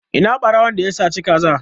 Ina ɓarawon da ya saci ka za?